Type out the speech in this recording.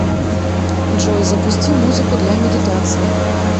джой запусти музыку для медитации